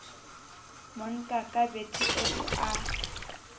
monka ka bethe eo a